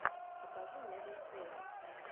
покажи меган трейнер